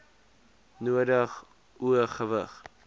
nodig o gewig